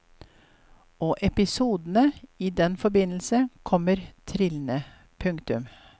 Og episodene i den forbindelse kommer trillende. punktum